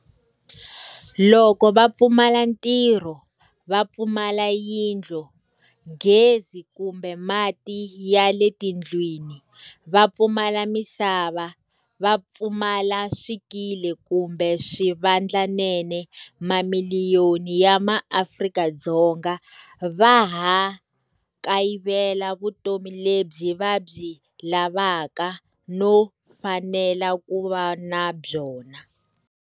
Loko va pfumala ntirho, va pfumala yindlu, gezi kumbe mati ya letindlwini, va pfumala misava, va pfumala swikili kumbe swivandlanene, mamiliyoni ya maAfrika-Dzonga va ha kayivela vutomi lebyi va byi lavaka no fanela ku va na byona.